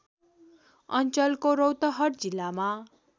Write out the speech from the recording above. अञ्चलको रौतहट जिल्लामा